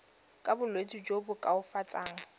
ka bolwetsi jo bo koafatsang